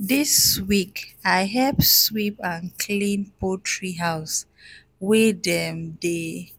this week i help sweep and clean poultry house wey dem dey